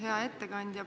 Hea ettekandja!